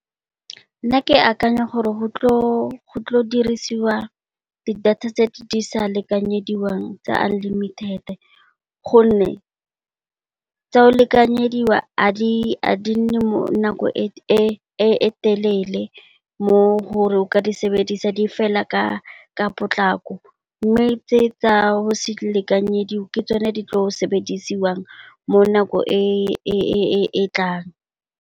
Nna ke akanya gore go tlo dirisiwa di data tse di sa lekanyediwang tsa unlimited gonne, tse lekanyediwang a di nne nako e telele mo leng gore o ka di sebedisa di fela ka potlako. Mme, tse tsa ho se akanyediwe ke tsone tse di tlo sebediswang mo nako e e tlang.